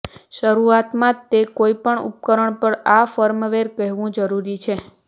શરૂઆતમાં તે કોઈપણ ઉપકરણ પર આ ફર્મવેર કહેવું જરૂરી છે